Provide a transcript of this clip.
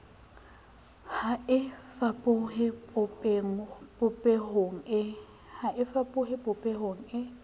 ha e fapohe popehong e